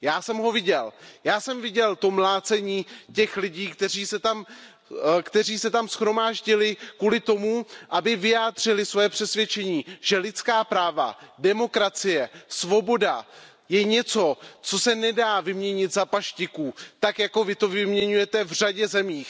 Já jsem ho viděl, já jsem viděl mlácení lidí, kteří se shromáždili kvůli tomu, aby vyjádřili svoje přesvědčení, že lidská práva, demokracie, svoboda je něco, co se nedá vyměnit za paštiku, tak jako vy to vyměňujete v řadě zemí.